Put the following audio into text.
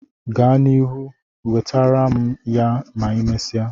Gaa na iru, wetere m ya ma imesia